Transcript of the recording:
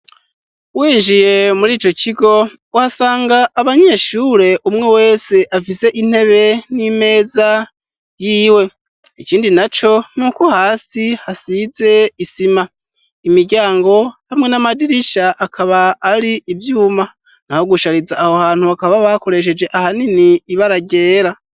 Winjiye muri ico kigo uhasanga abanyeshure umwe wese afize intebe n'imeza yiwe ikindi na co n'uko hasi hasize isima imiryango hamwe n'amadirisha akaba ari ivyuma nahogushariza aho hantu bakaba bakoresheje ahana ini ibe araryera.